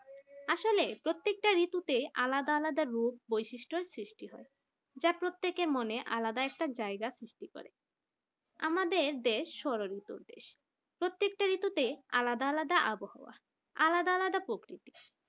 একটা ঋতুতে আলাদা আলাদা রূপ বৈশিষ্ট্যের সৃষ্টি হয় যা প্রত্যেকের মনে আর আলাদা একটা জায়গা সৃষ্টি করে। আমাদের দেশ স্মরণিত দেশ প্রত্যেকটা ঋতুতে আলাদা আলাদা আবহাওয়া আলাদা আলাদা প্রকৃতি